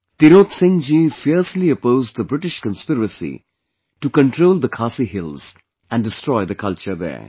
Tirot Singh ji fiercely opposed the British conspiracy to control the Khasi Hills and destroy the culture there